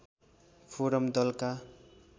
forum दलका